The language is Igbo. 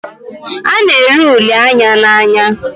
A na ere uli Anya n'anya